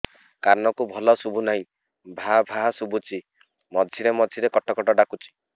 କାନକୁ ଭଲ ଶୁଭୁ ନାହିଁ ଭାଆ ଭାଆ ଶୁଭୁଚି ମଝିରେ ମଝିରେ କଟ କଟ ଡାକୁଚି